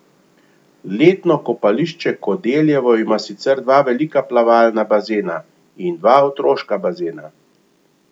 Letno kopališče Kodeljevo ima sicer dva velika plavalna bazena in dva otroška bazena.